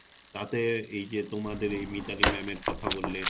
তাতে এই যে তোমাদের এই মিতালি ma'am এর কথা বললে;